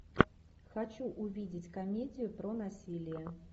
хочу увидеть комедию про насилие